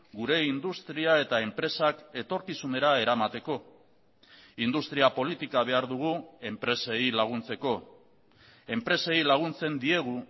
gure industria eta enpresak etorkizunera eramateko industria politika behar dugu enpresei laguntzeko enpresei laguntzen diegu